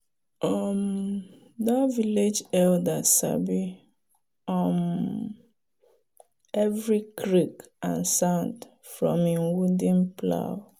um that village elder sabi um every creak and sound from him wooden plow.